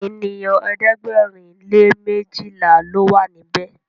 ènìyàn ẹ̀ẹ́dẹ̀gbẹ̀rin lè mejila ló wà níbè.